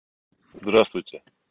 здравствуйте